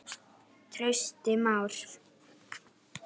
Trausti Már.